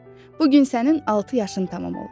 Bu gün sənin altı yaşın tamam olur.